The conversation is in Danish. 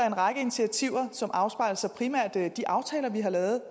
en række initiativer som afspejler sig primært i de aftaler vi har lavet